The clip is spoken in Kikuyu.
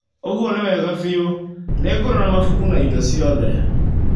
ũguo nĩ wega biũ. Nĩngũrora mabuku na indo ciothe.